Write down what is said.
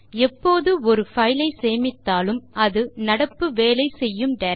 எப்போது ஒரு பைல் ஐ சேமித்தாலும் அது நடப்பு வேலை செய்யும் டைரக்டரி இல் சேமிக்கப்படும்